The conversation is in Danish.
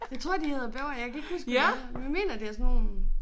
Jeg tror de hedder bævere jeg kan ikke huske hvad de hedder men mener det er sådan nogle